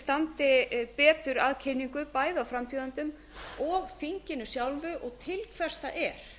standi betur að kynningu bæði á frambjóðendum og þinginu sjálfu og til hvers það er